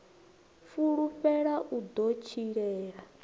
fulufhela u ḓo u tshilela